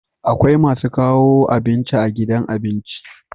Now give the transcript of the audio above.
Akwai masu kawo abinci a gidan abinci